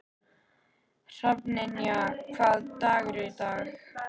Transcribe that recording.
Hrafnynja, hvaða dagur er í dag?